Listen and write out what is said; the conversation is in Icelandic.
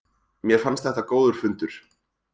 Mér fannst þetta góður fundur